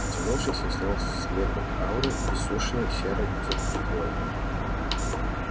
потянувшись я снял слепок ауры иссушенной серой затхлой